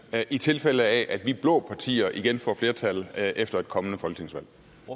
i tilfælde af at vi blå partier igen får flertal efter et kommende folketingsvalg